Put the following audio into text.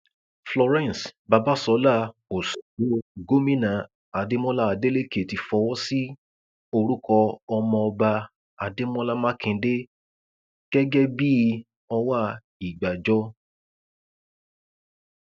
florence babàsọlá òsgbó gómìnà adémọlá adélèké ti fọwọ sí orúkọ ọmọọba adémọlá mákindè gẹgẹ bíi ọwá ìgbàjọ